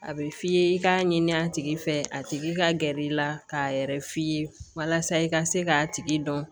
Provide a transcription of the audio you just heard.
A bɛ f'i ye i k'a ɲini a tigi fɛ a tigi ka gɛrɛ i la k'a yɛrɛ f'i ye walasa i ka se k'a tigi dɔn